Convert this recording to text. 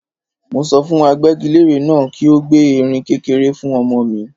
Mo sọ fún agbẹ́gilére náà kí ó gbẹ́ erin kékeré fún ọmọ mi.